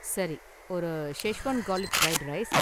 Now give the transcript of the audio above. சரி ஒரு schezwan garlic fried rice